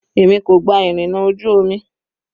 Èmi kò gba ìrìnà ojú omi.